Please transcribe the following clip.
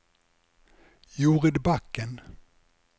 Jorid Bakken